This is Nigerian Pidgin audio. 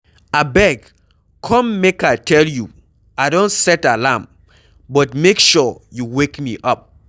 Abeg come make I tell you, I don set alarm, but make sure you wake me up.